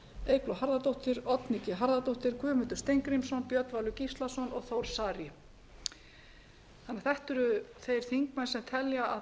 eygló harðardóttir oddný g harðardóttir guðmundur steingrímsson björn valur gíslason og þór saari átt eru þeir þingmenn sem telja